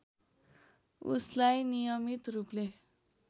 उसलाई नियमित रूपले